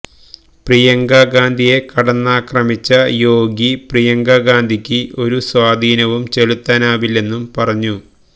പ്രിയങ്ക ഗാന്ധിയെ കടന്നാക്രമിച്ച യോഗി പ്രിയങ്ക ഗാന്ധിക്ക് ഒരു സ്വാധീനവും ചെലുത്താനാവില്ലെന്നും പറഞ്ഞു